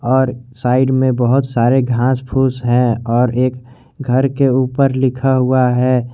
और साइड में बहुत सारे घास फूस है और एक घर के ऊपर लिखा हुआ है।